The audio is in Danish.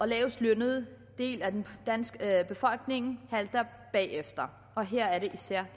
lavestlønnede del af den danske befolkning halter bagefter og her er det især